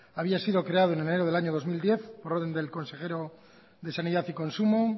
había sido creado en enero del año dos mil diez por orden del consejero de sanidad y consumo